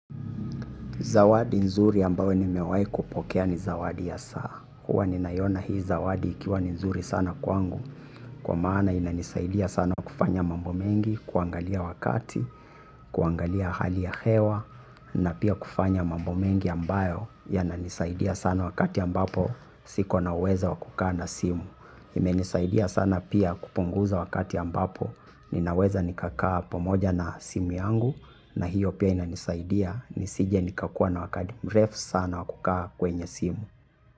Zawadi nzuri ambayo nimewai kupokea ni zawadi ya saa. Huwa ninaiona hii zawadi ikiwa nzuri sana kwangu. Kwa maana inanisaidia sana kufanya mambo mengi, kuangalia wakati, kuangalia hali ya hewa. Na pia kufanya mambo mengi ambayo yananisaidia sana wakati ambapo siko na uwezo wa kukaa na simu. Imenisaidia sana pia kupunguza wakati ambapo. Ninaweza nikakaa pamoja na simu yangu. Na hiyo pia inanisaidia nisije nikakuwa na wakati mrefu sana wa kukaa kwenye simu.